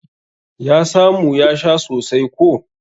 Ya samu ya sha sosai ko.